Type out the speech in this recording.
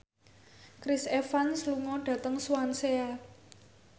Chris Evans lunga dhateng Swansea